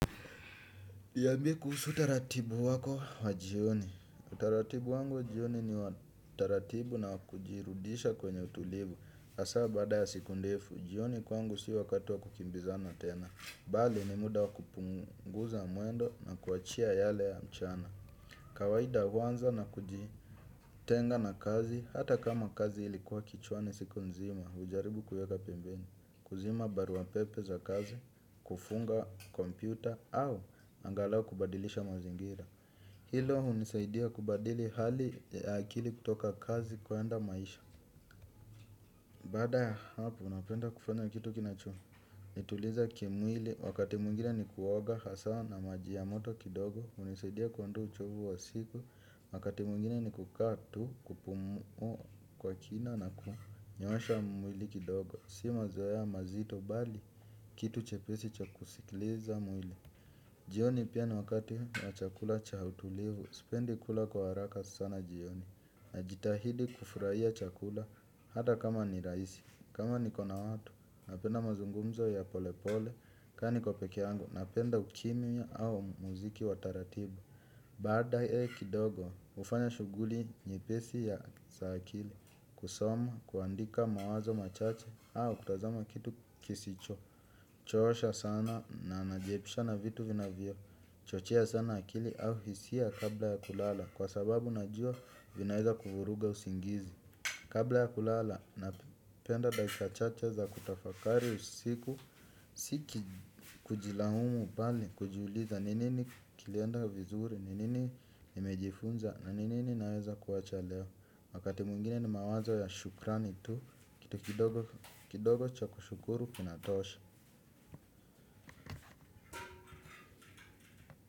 Niambie kuhusu taratibu wako wa jioni. Taratibu wangu jioni ni wa taratibu na kujirudisha kwenye utulivu. Asa baada ya siku ndefu, jioni kwangu si wakati wa kukimbizana tena. Bali ni muda wa kupunguza mwendo na kuachia yale ya mchana. Kawaida huanza na kuji tenga na kazi, hata kama kazi ilikuwa kichwani siku nzima, hujaribu kuieka pembeni. Kuzima barua pepe za kazi, kufunga kompyuta au angalau kubadilisha mazingira. Hilo hunisaidia kubadili hali ya akili kutoka kazi kuenda maisha. Bada ya hapo, napenda kufanya kitu kinachonituliza kimwili, wakati mwingine ni kuoga hasa na maji ya moto kidogo hunisaidia kuondoa uchovu wa siku, wakati mwingine ni kukaa tu, kupumuua kwa kina na kunyoosha mwili kidogo, si mazoea mazito bali kitu chepesi cha kusikiliza mwili. Jioni pia ni wakati wa chakula cha utulivu, sipendi kula kwa haraka sana jioni najitahidi kufurahia chakula hata kama ni raisi kama nikona watu, napenda mazungumzo ya polepole kaa niko pekee yangu, napenda ukimya au muziki wa taratibu. Baadaye kidogo, ufanya shughuli nyepesi ya za akili kusoma, kuandika mawazo machache au kutazama kitu kisicho choosha sana na najiepusha na vitu vinavyo chochea sana akili au hisia kabla ya kulala kwa sababu najua vinaweza kufuruga usingizi. Kabla ya kulala napenda dakika chache za kutafakari usiku tiki kujilaumu bali kujiuliza ni nini kilienda vizuri ni nini nimejifunza na ni nini naweza kuacha leo wakati mwingine ni mawazo ya shukrani tu kitu kidogo kidogo cha kushukuru kinatosha.